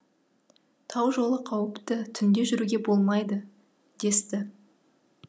тау жолы қауіпті түнде жүруге болмайды десті